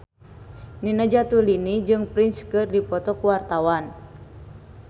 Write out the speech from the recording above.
Nina Zatulini jeung Prince keur dipoto ku wartawan